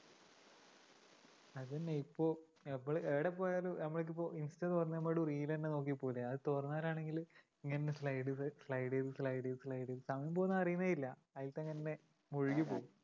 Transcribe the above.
അത് തന്നെ ഇപ്പൊ നമ്മള് എവിടെ പ്പോയാലും നമ്മള് ഇതിപ്പോ insta തുറന്ന് reel തന്നെ നോക്കിപ്പോവൂല്ലേ അത് തുറന്നവരാണെങ്കിൽ ഇങ്ങനെ slide ചെയ്ത്‌ slide ചെയ്‌ത്‌ slide ചെയ്ത്‌ സമയം പോവുന്നത് അറിയുന്നേയില്ല അതിൽ തന്നെ ഇങ്ങനെ മുഴുകി പ്പോവും